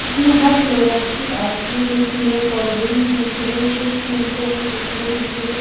इसमें हर फ्लेवर्स की आइसक्रीम मिलती है कोल्ड्रिंक्स मिलती है चिप्स मिलते हैं कुरकुरे मिलते हैं।